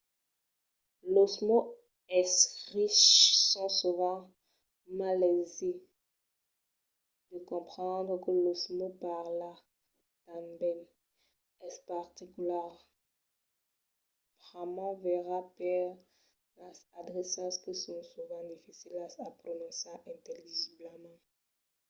los mots escriches son sovent mai aisits de comprendre que los mots parlats tanben. es particularament verai per las adreças que son sovent dificilas a prononciar intelligiblament